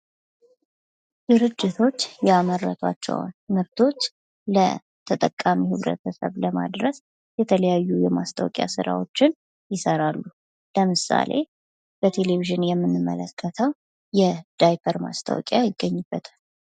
ድርጅቶች ያመረቷቸዉን ምርቶች ለተጠቃሚዉ ማህበረሰብ ጋር ለማድረስ የተለያዩ የማስታወቂያ ስራዎችን ይሰራሉ። ለምሳሌ በቴሌቪዥን የምንመለከተዉ የዳይፐር ማስታወቂያ ይገኝበታል።